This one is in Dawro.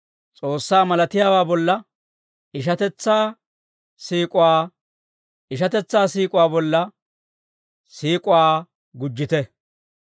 S'oossaa malatiyaawaa bolla ishatetsaa siik'uwaa, ishatetsaa siik'uwaa bolla siik'uwaa gujjite.